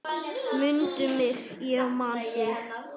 Mundu mig, ég man þig.